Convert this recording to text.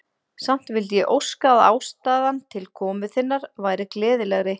Samt vildi ég óska, að ástæðan til komu þinnar væri gleðilegri.